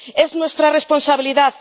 Es nuestra responsabilidad.